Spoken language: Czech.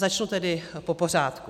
Začnu tedy po pořádku.